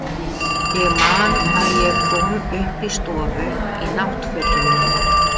Ég man að ég kom upp í stofu í náttfötunum mínum.